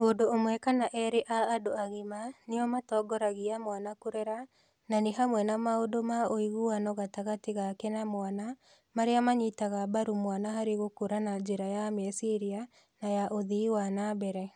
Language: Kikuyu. Mũndũ ũmwe kana erĩ a andũ agima nĩo matongoragia mwana kũrera, na nĩ hamwe na maũndũ ma ũiguano gatagatĩ gaake na mwana, marĩa manyitaga mbaru mwana harĩ gũkũra na njĩra ya meciria na ya ũthii wa na mbere.